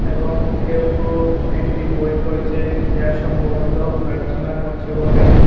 এবং কেউ কেউ একটি বই পড়ছে যা সম্ভবত প্রার্থনা করছে বলে।